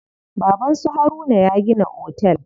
Baban su Haruna ya gina otel.